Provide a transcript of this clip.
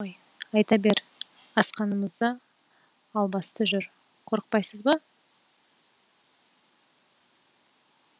не ғой айта бер асқазанымызда албасты жүр қорықпайсыз ба